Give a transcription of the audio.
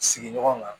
Sigiɲɔgɔn kan